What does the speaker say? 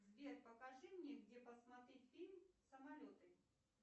сбер покажи мне где посмотреть фильм самолеты